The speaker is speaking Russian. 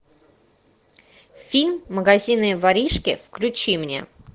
фильм магазинные воришки включи мне